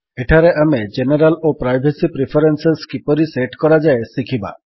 ଏଠାରେ ଆମେ ଜେନେରାଲ୍ ଓ ପ୍ରାଇଭେସୀ ପ୍ରିଫରେନ୍ସେସ୍ କିପରି ସେଟ୍ କରାଯାଏ ଶିଖିବା